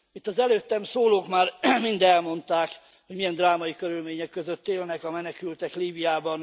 Itt az előttem szólók már mind elmondták, hogy milyen drámai körülmények között élnek a menekültek Líbiában.